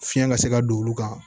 Fiɲɛ ka se ka don olu kan